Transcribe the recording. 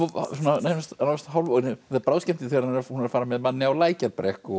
nánast það er bráðskemmtilegt þegar hún er að fara með manni á Lækjarbrekku og